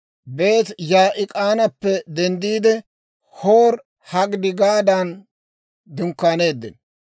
Bene-Yaa'ik'aanappe denddiide, Hoori-Hagidigaadan dunkkaaneeddino.